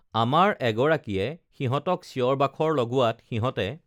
আমাৰ এগৰাকীয়ে সিহঁতক চিঞৰ বাখৰ লগোৱাত সিহঁতে